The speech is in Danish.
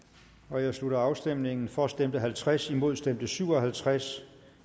jeg slutter afstemningen for stemte halvtreds imod stemte syv og halvtreds